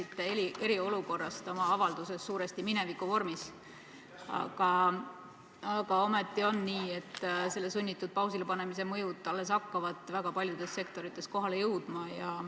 Te rääkisite eriolukorrast oma avalduses suuresti minevikuvormis, aga ometi on nii, et selle sunnitud pausile panemise mõjud alles hakkavad väga paljudes sektorites kohale jõudma.